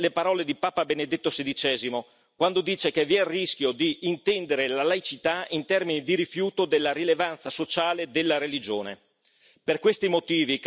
Riprendo umilmente le parole di papa Benedetto XVI, quando dice che vi è il rischio di intendere la laicità in termini di rifiuto della rilevanza sociale della religione.